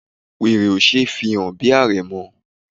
Wèrè ò ṣe é fi hàn bí àrẹ̀mọ.